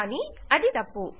కానీ అది తప్పు